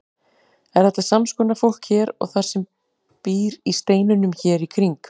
Er þetta sams konar fólk og það sem býr í steinunum hér í kring?